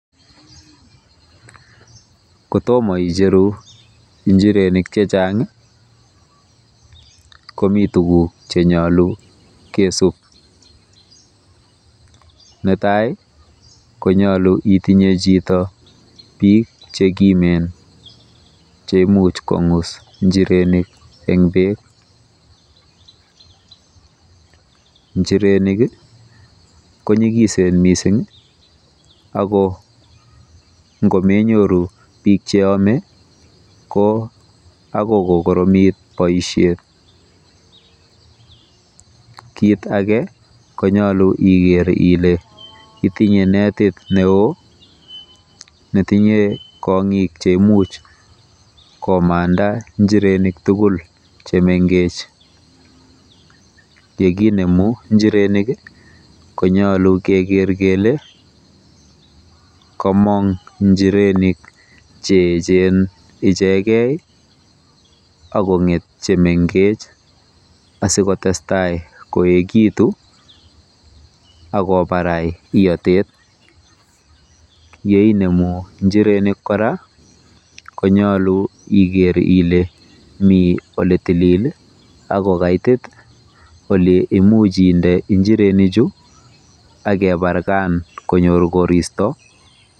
Kotomo ijeru Njirenik chechang komi tuguk chenyolu kesub. Netai konyolu itinye chito bik chekimen cheimuch kong'us njirenik eng bek. Njirenik konyigisen mising ako ngomenyoru bik cheyame ko akoi kokoromit boisiet. Kit age konyolu iker ile itinye netit neo netinye konyik cheimuch komanda njirenik tugul chemengech. Yekijeru njirenik konyolu keker kele komong njirenik cheechen ichegei akonget chemengech asikotestai koekitu akobarai iotet. Yeinemu njirenik konyolu iker ile mi oletilil akokaitit oleimuch inde injirenichu akebarkan konyor koristo.